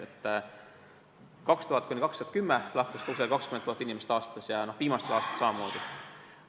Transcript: Perioodil 2000–2010 lahkus aastas umbes 20 000 inimest ja viimastel aastatel on see olnud samamoodi.